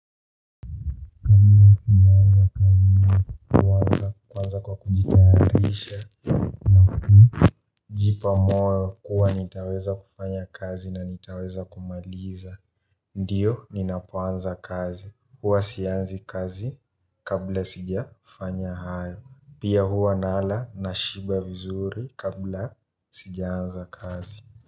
Jipa moyo kuwa nitaweza kufanya kazi na nitaweza kumaliza. Ndio, ninapoanza kazi huwa sianzi kazi kabla sijafanya hayo. Pia huwa nala nashiba vizuri kabla sijaanza kazi.